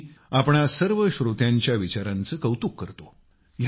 मी तुम्हा सर्व श्रोत्यांच्या विचारांचे कौतुक करतो